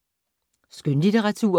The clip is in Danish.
Skønlitteratur